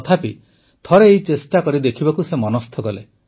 ତଥାପି ଥରେ ଏହି ଚେଷ୍ଟା କରିଦେଖିବାକୁ ସେ ମନସ୍ଥ କଲେ